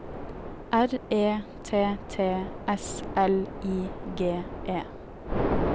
R E T T S L I G E